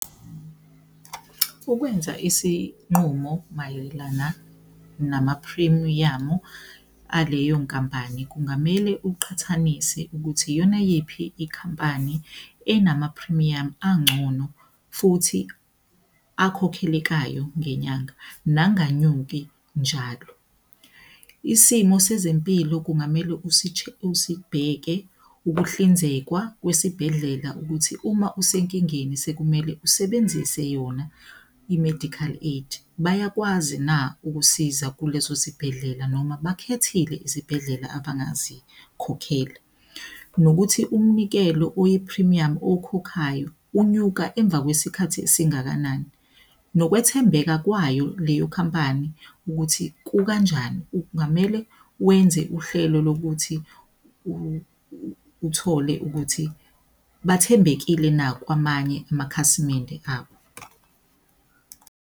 Ukwenza isinqumo mayelana namaphrimiyamu aleyo nkampani kungamele uqhathanise ukuthi iyona yiphi ikhampani enama phrimiyamu angcono futhi akhokhelekayo ngenyanga nanganyuki njalo. Isimo sezempilo kungamele usibheke ukuhlinzekwa kwesibhedlela ukuthi uma usenkingeni sekumele usebenzise yona i-medical aid. Bayakwazi na ukusiza kuleso sibhedlela noma bakhethile izibhedlela abangazikhokhela? Nokuthi umnikelo oyiphrimiyamu owukhokhayo unyuka emva kwesikhathi esingakanani? Nokwethembeka kwayo leyo khampani ukuthi kukanjani. Ungamele wenze uhlelo lokuthi uthole ukuthi bathembekile na kwamanye amakhasimende abo?